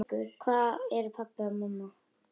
Hvar eru pabbi og mamma?